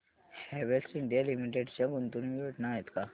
Havells India Limited च्या गुंतवणूक योजना आहेत का